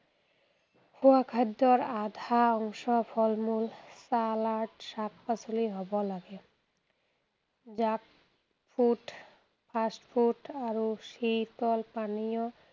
খোৱা খাদ্যৰ আধা অংশ ফল মূল, চালাড, শাক, পাচলি হ’ব লাগে। junk food, fast food আৰু শীতল পানীয়